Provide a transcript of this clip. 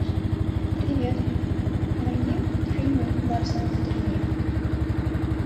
привет найди фильмы ларса фон триера